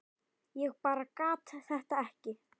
Ég bara gat þetta ekki.